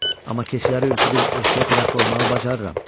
amma keçiləri ürküdüub ovçuya tərəf qovmağı bacarıram.